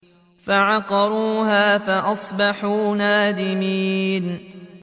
فَعَقَرُوهَا فَأَصْبَحُوا نَادِمِينَ